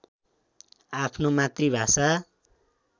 आफ्नो मातृभाषा